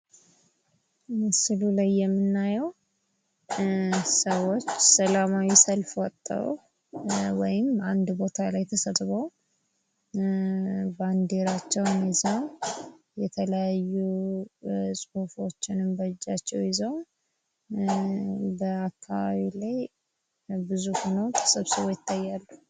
ሕገ መንግሥት የአንድን ሀገር መሠረታዊ የሕግ ማዕቀፍ የሚያሳይ ሲሆን የመንግሥትን ሥልጣን ይገድባል እንዲሁም የዜጎችን መብት ያስከብራል።